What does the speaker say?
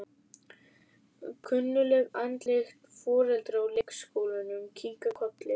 Kunnugleg andlit foreldra úr leikskólanum kinka kolli.